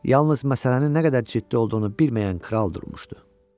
Yalnız məsələnin nə qədər ciddi olduğunu bilməyən kral durmuşdu.